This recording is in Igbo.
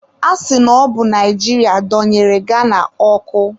A sị na ọbụ Naijiria donyere Ghana ọkụ.